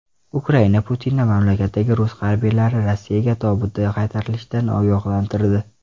Ukraina Putinni mamlakatdagi rus harbiylari Rossiyaga tobutda qaytarilishidan ogohlantirdi.